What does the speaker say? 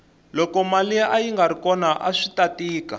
loko mali ayingari kona aswita tika